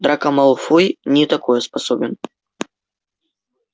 драко малфой не такое способен